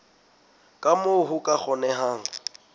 ka moo ho ka kgonehang